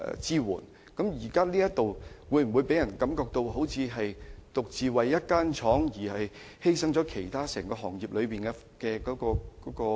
這會否予人一種感覺，便是政府為了一間公司而犧牲業內其他公司的生存空間呢？